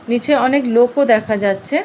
নীচে অনেক লোকও দেখা যাচ্ছে-এ।